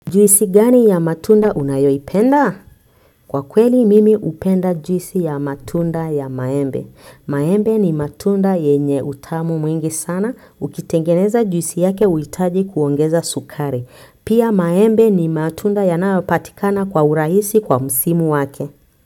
Juisi gani ya matunda unayoipenda? Kwa kweli mimi hupenda juisi ya matunda ya maembe. Maembe ni matunda yenye utamu mwingi sana. Ukitengeneza juisi yake huhitaji kuongeza sukari pia maembe ni matunda yanayopatikana kwa urahisi kwa msimu wake.